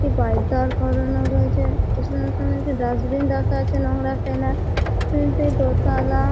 একটি বাইক দাঁড় করানো রয়েছে এর সঙ্গে সঙ্গে একটা ডাস্টবিন রাখা আছে নোংরা ফেলার তিনটে দোতালা--